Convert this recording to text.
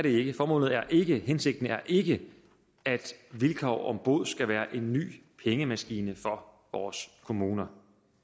ikke formålet er ikke hensigten er ikke at vilkår om bod skal være en ny pengemaskine for vores kommuner